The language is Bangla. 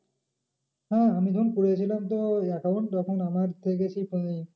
হ্যাঁ আমি যখন করে ছিলাম তোর account তখন আমার দেখেছি